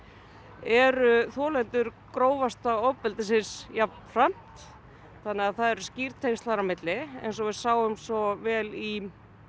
eru þolendur grófasta ofbeldisins jafnframt þannig að það eru skýr tengsl þar á milli eins og við sáum svo vel í